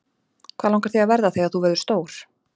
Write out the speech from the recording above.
Hvað langar þig að verða þegar þú verður stór?